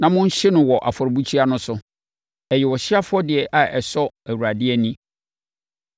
na monhye no wɔ afɔrebukyia no so; ɛyɛ ɔhyeɛ afɔdeɛ a ɛsɔ Awurade ani.